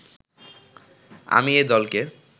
আমি এ দলকে